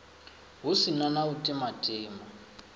hu si na u timatima